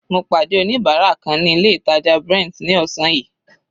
Mo pàdé oníbárà kan ní ilé ìtàjà Brent ní ọ̀sán yìí.